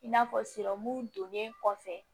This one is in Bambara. I n'a fɔ donnen kɔfɛ